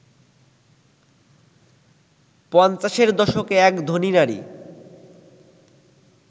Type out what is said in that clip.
পঞ্চাশের দশকে এক ধনী নারী